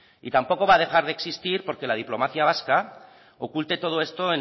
y tampoco va a dejar de existir porque la diplomacia vasca oculte todo esto